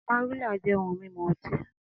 Amarula jẹ ohun mimu ọti.